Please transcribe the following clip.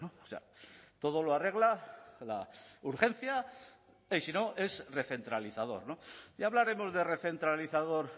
o sea todo lo arregla la urgencia y si no es recentralizador ya hablaremos de recentralizador